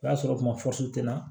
O y'a sɔrɔ kuma fosi tɛ n na